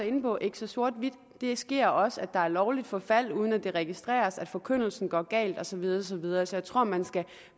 inde på ikke så sort hvidt det sker også at der er lovligt forfald uden at det registreres at forkyndelsen går galt og så videre og så videre så jeg tror man skal